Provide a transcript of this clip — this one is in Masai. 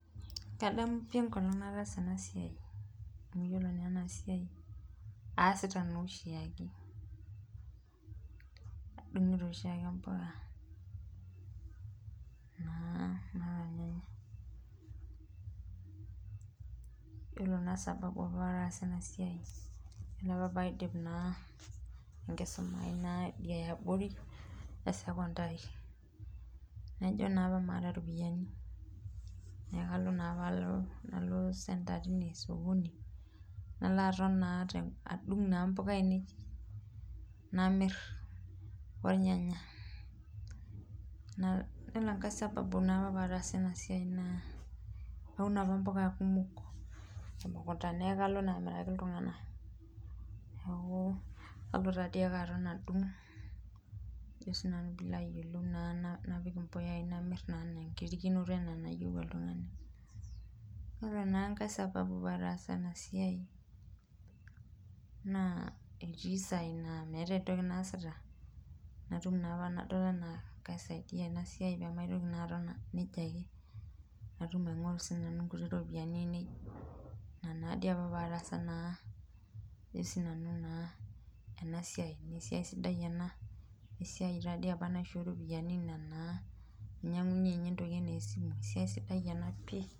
Kadamu pi enkolong nataasa ena siai ,amu yiolo na esa siai aasita oshiake adungito oshiake mpuka naa ,yiolo apa sababu pee aas ena siai yiolo pee aidip naa enkisuma ai Idia eyaabori esecondary naijo apa maata ropiyiani ,neeku naa apa kalo center tine nalo sokoni, nalo aton naa adung mpuka ainei namir ornyanya, yiolo enkae sababu na iyiolo apa pee aas ena siai naa Kaun apa mpuka kumok neeku toomukuntani ake nanu alo ayaki iltunganak ,neeku kalo ake sii nanu aton adung napik impuyai namir naa enkirikinoto enaa enayieu oltungani ,ore mbaa enkae sababu pee ataasa ena siai naa etii saai naa meeta entoki naasita nadol naa ena kaisaidia ena siai ,pee maitoki aton nejia ake natum siininye nanu aingoru ropiyiani ainei ,ore ena siai naa esiai sidai ena esiai tadii apa naishoo ropiyiani ina naa nainyangunyie ninye ntokiting anaa esimu ,esiai sidai ena oleng.